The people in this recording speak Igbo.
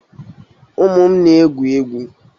Ụmụ m na-egwu egwu.